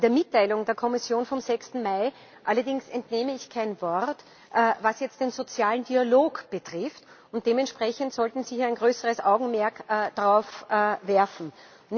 Der Mitteilung der Kommission vom 6. Mai allerdings entnehme ich kein Wort darüber, was jetzt den sozialen Dialog betrifft, und dementsprechend sollten Sie ein größeres Augenmerk darauf richten.